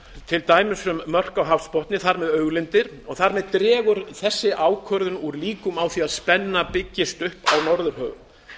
til dæmis um mörk á hafsbotni og þar með auðlindir sú ákvörðun dregur úr líkum á því að spenna byggist upp í norðurhöfum og